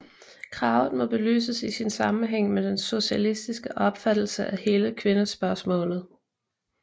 Kravet må belyses i sin sammenhæng med den socialistiske opfattelse af hele kvindespørgsmålet